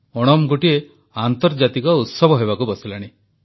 ଓଣମ୍ ଗୋଟିଏ ଆନ୍ତର୍ଜାତିକ ଉତ୍ସବ ହେବାକୁ ବସିଲାଣି